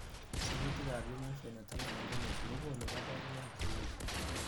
Sirutikab Human Phenotype Ontology kokonu koborunoik cheuchu.